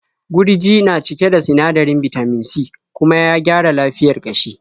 Gurji na cike da sinadarin bitamin C kuma ya gyara lafiyar ƙashi.